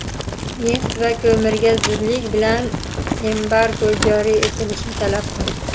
nefti va ko‘miriga zudlik bilan embargo joriy etilishini talab qildi.